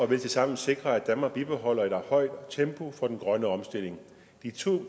vil tilsammen sikre at danmark bibeholder et højt tempo for den grønne omstilling de to